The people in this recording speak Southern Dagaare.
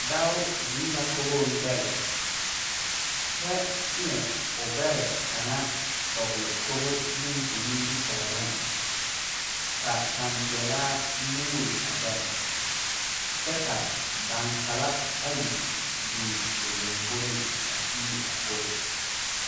Dao zeŋ la kogoŋ dɛlle kyɛ teɛ o gbɛre kaŋa dɔgle kogo zuŋ o nimitooreŋ ka tanpeɛlaa muuli a gbɛre kyɛ ka daŋkpala ayi biŋ o lomboreŋ a tiili a kogo.